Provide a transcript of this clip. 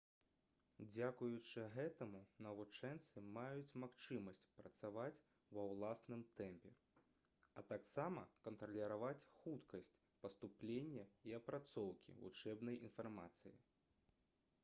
дзякуючы гэтаму навучэнцы маюць магчымасць працаваць ва ўласным тэмпе а таксама кантраляваць хуткасць паступлення і апрацоўкі вучэбнай інфармацыі